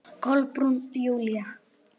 Kolbrún Júlía.